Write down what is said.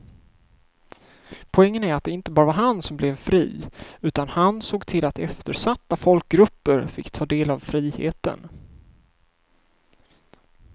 Poängen är att det inte bara var han som blev fri utan han såg till att eftersatta folkgrupper fick ta del av friheten.